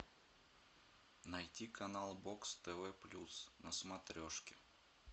найти канал бокс тв плюс на смотрешке